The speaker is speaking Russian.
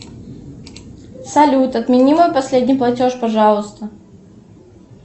салют отмени мой последний платеж пожалуйста